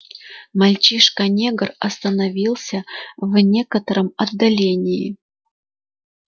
мальчишка негр остановился в некотором отдалении